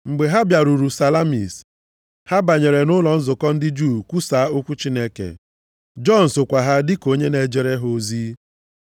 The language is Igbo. Mgbe ha bịaruru Salamis, ha banyere nʼụlọ nzukọ ndị Juu kwusaa okwu Chineke. Jọn sokwa ha dịka onye na-ejere ha ozi.